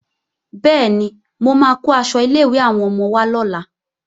Bẹ́ẹ̀ni, mo máa kó aṣọ ilé-ìwé àwọn ọmọ wá lọ́la